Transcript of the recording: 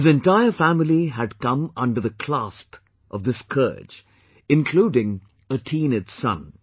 His entire family had come under the clasp of this scourge, including a teenage son